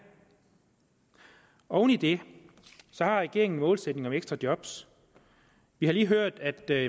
oven i det har regeringen en målsætning om ekstra job vi har lige hørt at der